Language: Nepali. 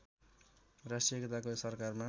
राष्ट्रिय एकताको सरकारमा